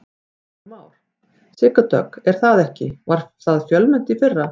Heimir Már: Sigga Dögg er það ekki, það var fjölmennt í fyrra?